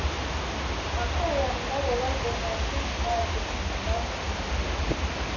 ақыр аяғында олай болмайтын шығар деп содан үміттенеді